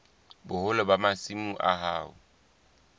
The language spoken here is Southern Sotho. boholo ba masimo a hao